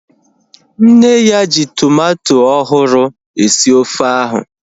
Nne ya ji tomato ọhụrụ esi ofe ahu